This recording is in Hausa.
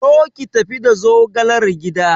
Zo ki tafi da zogalar gida!